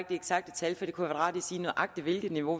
eksakte tal for det kunne være rart at sige nøjagtig hvilket niveau